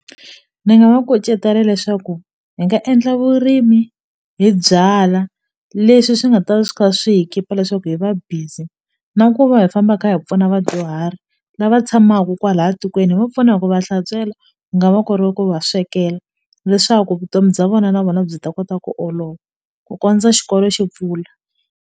Ni nga va kucetela leswaku hi nga endla vurimi hi byalwa leswi swi nga ta swi kha swi hi keep-a leswaku hi va busy na ku va hi famba kha hi pfuna vadyuhari lava tshamaku kwala tikweni hi va pfuna hi ku va hlantswela nga va ku ri ku va swekela leswaku vutomi bya vona na vona byi ta kota ku olova ku kondza xikolo xi pfula.